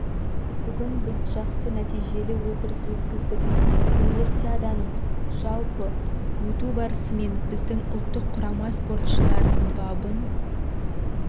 бүгін біз жақсы нәтижелі отырыс өткіздік универсиаданың жалпы өту барысы мен біздің ұлттық құрама спортшыларының бабын